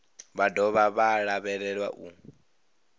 vha dovha vha lavhelelwa u